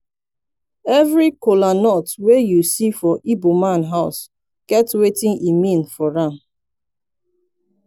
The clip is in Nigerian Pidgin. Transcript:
evri kolanut wey yu see for igboman house get wetin e mean for am